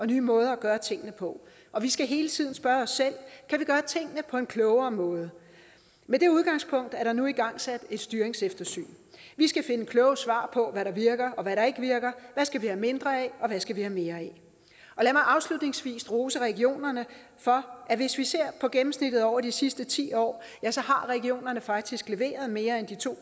nye måder at gøre tingene på og vi skal hele tiden spørge os selv kan vi gøre tingene på en klogere måde med det udgangspunkt er der nu igangsat et styringseftersyn vi skal finde kloge svar på hvad der virker og hvad der ikke virker hvad skal vi have mindre af og hvad skal vi have mere af lad mig afslutningsvis rose regionerne for at hvis vi ser på gennemsnittet over de sidste ti år har regionerne faktisk leveret mere end de to